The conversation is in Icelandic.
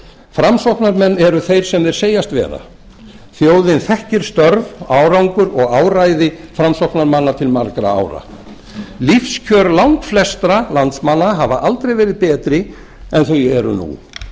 framsóknarmenn eru þeir sem þeir segjast vera þjóðin þekkir störf árangur og áræði framsóknarmanna til margra ára lífskjör langflestra landsmanna hafa aldrei verið betri en þau eru nú